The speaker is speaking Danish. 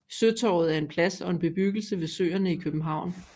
Søtorvet er en plads og en bebyggelse ved Søerne i København